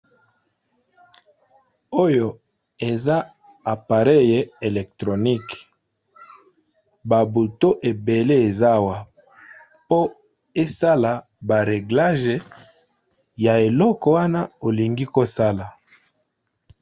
Oyo eza apareye electronique ba buto ebele ezawa po esala ba reglage ya eloko wana olingi kosala.